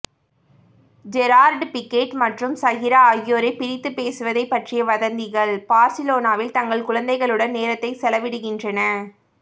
Gerard Pique மற்றும் Shakira ஆகியோரைப் பிரித்துப் பேசுவதைப் பற்றிய வதந்திகள் பார்சிலோனாவில் தங்கள் குழந்தைகளுடன் நேரத்தை செலவிடுகின்றன